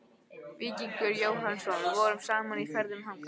Víkingur Jóhannsson vorum saman í ferðum þangað.